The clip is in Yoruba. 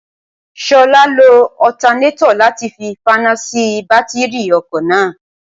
ṣọlá lo ọtanétọ̀ láti fi faná sí bátíìrì ọkọ̀ náà